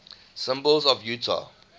symbols of utah